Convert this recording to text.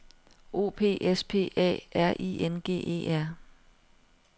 O P S P A R I N G E R